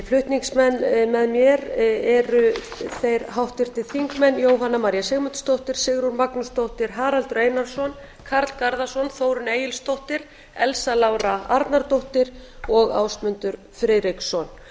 flutningsmenn með mér eru þeir háttvirtu þingmenn jóhanna maría sigmundsdóttir sigrún magnúsdóttir haraldur einarsson karl garðarsson þórunn egilsdóttir elsa lára arnardóttir og ásmundur friðriksson þetta er